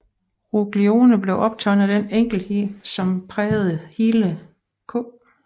Ruglioni blev optaget af den enkelhed som prægede hele K